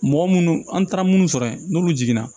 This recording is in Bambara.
Mɔgɔ munnu an taara munnu sɔrɔ yen n'olu jiginna